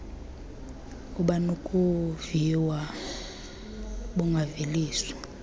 abunakuviwa d bungaveliswa